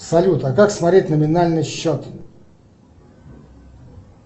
салют а как смотреть номинальный счет